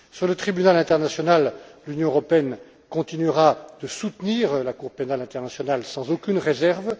Concernant le tribunal international, l'Union européenne continuera de soutenir la Cour pénale internationale sans aucune réserve.